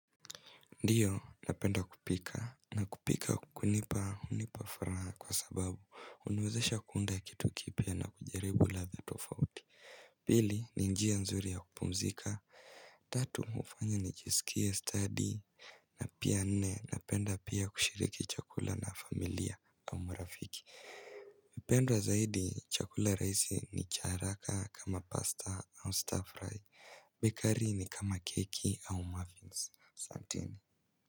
Ndiyo, napenda kupika. Nakupika kunipa unipafuraha kwa sababu huniwezesha kuunda kitu kipya na kujaribu ladha tofauti. Pili, ninjia nzuri ya kupumzika. Tatu, hufanya nijisikie study. Napia nne, napenda pia kushiriki chakula na familia au marafiki. Pendwa zaidi, chakula rahisi ni cha haraka kama pasta au stir fry. Bikari ni kama keki au muffins. Satini.